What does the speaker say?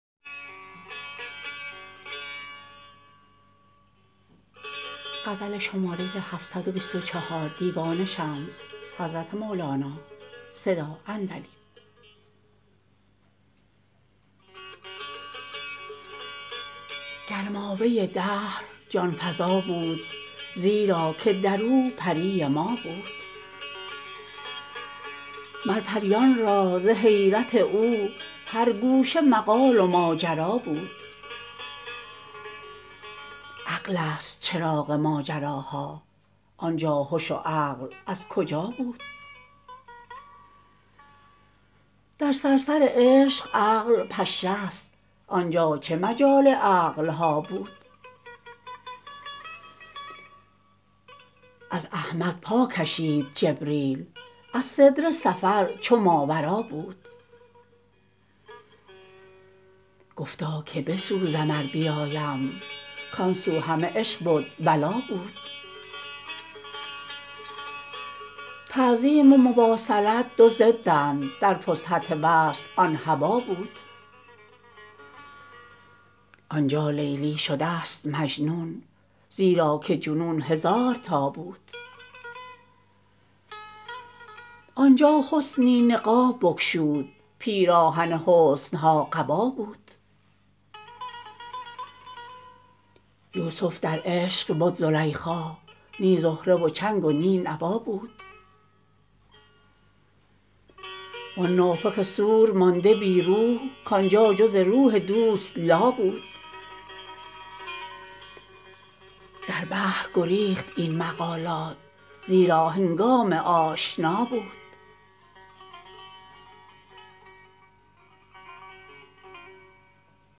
گر مایه دهر جان فزا بود زیرا که در او پری ما بود مر پریان را ز حیرت او هر گوشه مقال و ماجرا بود عقلست چراغ ماجراها آن جا هش و عقل از کجا بود در صرصر عشق عقل پشه ست آن جا چه مجال عقل ها بود از احمد پا کشید جبریل از سدره سفر چو ماورا بود گفتا که بسوزم ار بیایم کان سو همه عشق بد ولا بود تعظیم و مواصلت دو ضدند در فسحت وصل آن هبا بود آن جا لیلی شدست مجنون زیرا که جنون هزار تا بود آن جا حسنی نقاب بگشود پیراهن حسن ها قبا بود یوسف در عشق بد زلیخا نی زهره و چنگ و نی نوا بود وان نافخ صور مانده بی روح کان جا جز روح دوست لا بود در بحر گریخت این مقالات زیرا هنگام آشنا بود